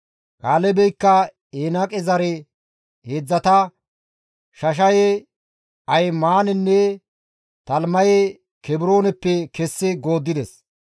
Kaalebeykka Enaaqe zare heedzdzata, Shashaye, Ahimaanenne Talimaye Kebrooneppe kessi gooddides.